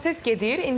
Proses gedir.